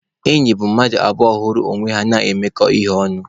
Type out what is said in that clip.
Enyi bụ mmadụ abụọ hụrụ onwe ha na-emekọ ihe ọnụ.